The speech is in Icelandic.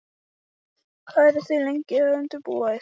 Hvað eru þið lengi að undirbúa ykkur?